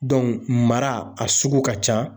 mara a sugu ka ca .